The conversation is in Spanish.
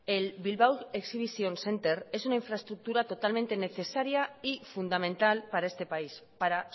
el bilbao exhibition centre es una infraestructura totalmente necesaria y fundamental para este país para